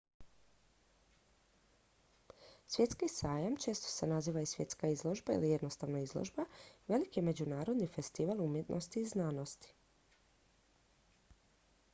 svjetski sajam često se naziva i svjetska izložba ili jednostavno izložba veliki je međunarodni festival umjetnosti i znanosti